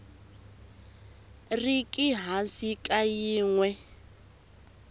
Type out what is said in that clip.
riki hansi ka yin we